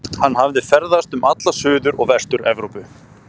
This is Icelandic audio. Hann hafði ferðast um alla Suður- og Vestur-Evrópu